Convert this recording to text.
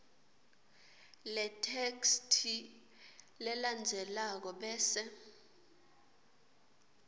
letheksthi lelandzelako bese